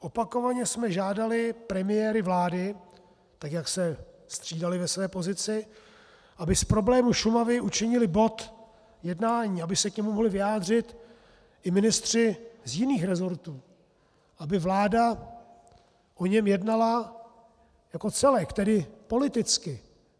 Opakovaně jsme žádali premiéry vlády, tak jak se střídali ve své pozici, aby z problému Šumavy učinili bod jednání, aby se k němu mohli vyjádřit i ministři z jiných rezortů, aby vláda o něm jednala jako celek, tedy politicky.